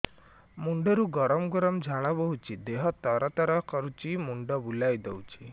ମୁଣ୍ଡରୁ ଗମ ଗମ ଝାଳ ବହୁଛି ଦିହ ତର ତର କରୁଛି ମୁଣ୍ଡ ବୁଲାଇ ଦେଉଛି